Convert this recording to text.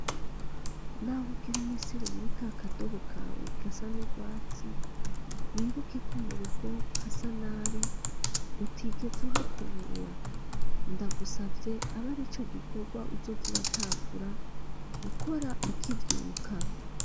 Naho ugira umesere muri kakadobo kawe gasa n'urwatsi, wibuke ko mu rugo hasa nabi utigeze uhakubura, ndagusavye abe arico gikorwa uzoza uratangura gukora ukivyuka.